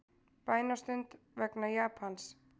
Bænastund vegna Japans